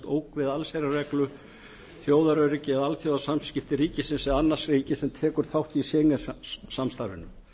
ógn við allsherjarreglu þjóðaröryggi eða alþjóðasamskipti ríkisins eða annars ríkis sem tekur þátt í schengen samstarfinu